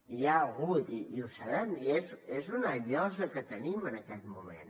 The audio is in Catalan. hi ha hagut i ho sabem i és una llosa que tenim en aquest moment